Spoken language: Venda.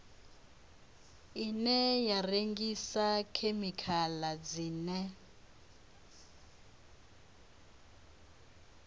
ine ya rengisa khemikhala dzine